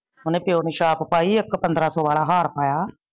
ਓਨੇ ਪਿਓ ਨੂ ਚਾਪ ਪਾਈ ਇਕ ਪੰਦਰਾ ਸੋ ਸੋ ਵਾਲਾ ਹਾਰ ਪਾਇਆ।